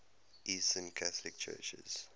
eastern catholic churches